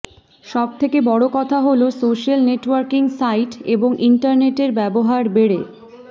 সব থেকে বড় কথা হল সোশ্যাল নেটওয়ার্কিং সাইট এবং ইন্টারনেটের ব্যবহার বেড়ে